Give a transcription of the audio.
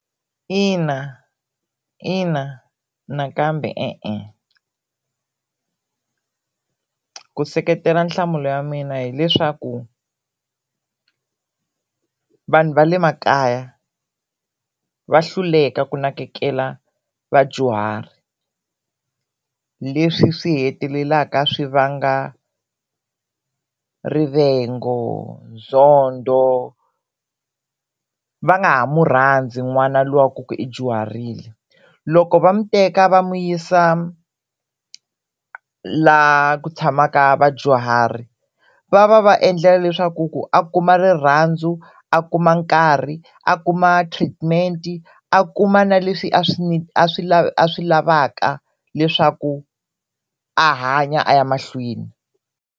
Ina ina nakambe e-e. Ku seketela nhlamulo ya mina hileswaku vanhu va le makaya va hluleka ku nakekela vadyuhari leswi swi hetelelaka swi vanga rivengo, nzondo, va nga ha mu rhandzi n'wana luwa wa ku i dyuharile. Loko va mu teka va n'wi yisa la ku tshamaka vadyuhari va va va endlela leswaku ku a kuma rirhandzu, a kuma nkarhi, a kuma treatment-i, a kuma na leswi a swi a swi a swi lavaka leswaku a hanya a ya mahlweni.